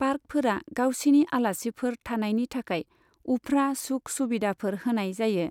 पार्कफोरा गावसिनि आलासिफोर थानायनि थाखाय उफ्रा सुख सुबिदाफोर होनाय जायो।